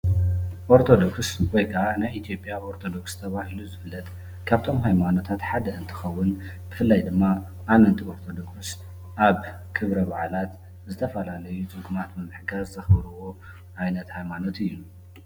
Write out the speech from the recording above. ኦርቶዶክስ ወይ ከዓ ናይ ኢ/ያ ኦርቶዶክስ ተባሂሉ ዝፍለጥ ካብቶም ሃይማኖታት ሓደ እንትኸውን ብፍላይ ድማ ኣመንቲ ኦርቶዶክስ ኣብ ክብረ በዓላት ዝተፈላለዩ ድኹማት ብምሕጋዝ ዘኽብርዎ ዓይነት ሃይማኖት እዩ፡፡